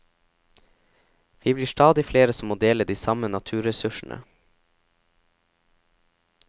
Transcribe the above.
Vi blir stadig flere som må dele de samme naturressursene.